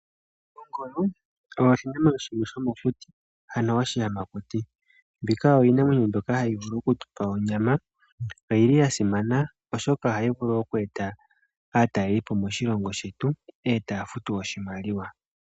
Ongolo oyo oshinamwenyo shimwe shomokuti, ano oshiyamakuti mbika oyo iinamwenyo mbyoka hayi vulu okutupa onyama. Oyili yasimana oshoka ohayi vulu oku eta aataleli po moshilongo shetu e taya futu oshimaliwa.